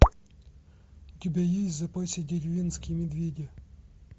у тебя есть в запасе деревенские медведи